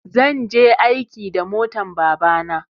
zan je aiki da motan babana